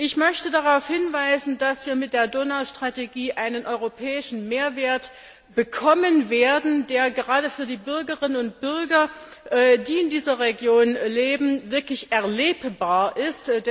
Ich möchte darauf hinweisen, dass wir mit der Donaustrategie einen europäischen Mehrwert bekommen werden, der gerade für die Bürgerinnen und Bürger, die in dieser Region leben, wirklich erlebbar ist.